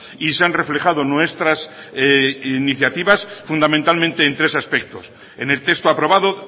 y se han reflejado nuestras iniciativas fundamentalmente en tres aspectos en el texto aprobado